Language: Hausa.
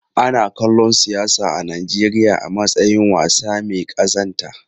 Ana kallon siyasa a Najeriya a matsayin wasa mai kazanta.